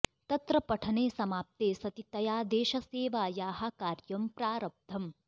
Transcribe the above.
तत्र पठने समाप्ते सति तया देशसेवायाः कार्यं प्रारब्धम्